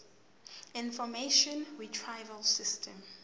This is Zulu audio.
information retrieval system